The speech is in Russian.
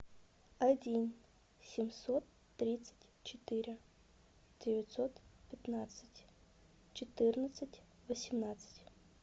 один семьсот тридцать четыре девятьсот пятнадцать четырнадцать восемнадцать